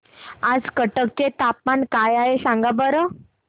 आज कटक चे तापमान काय आहे सांगा बरं